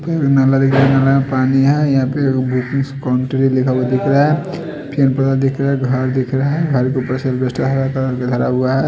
फिर नाला दिख रहा है। नाला में पानी है। बुकिंग कंट्री लिखा हुआ दिख रहा है। पेड़ पौधा दिख रहा घर दिख रहा घर के ऊपर हरा कलर लगा हुआ है।